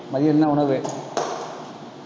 மதியம் என்ன உணவு